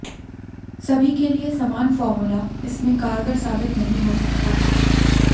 सभी के लिए समान फॉर्मूला इसमें कारगर साबित नहीं हो सकता है